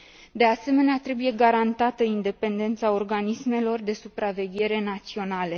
De asemenea, trebuie garantată independența organismelor de supraveghere naționale.